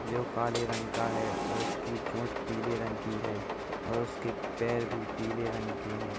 जो काले रंग का है और उसकी चोंच पीले रंग की है और उसके पैर भी पीले रंग के हैं।